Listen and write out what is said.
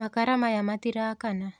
Makara maya matirakana.